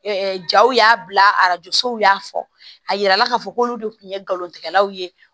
jaw y'a bila arajo sow y'a fɔ a yirala k'a fɔ ko olu de tun ye galon tigɛlaw ye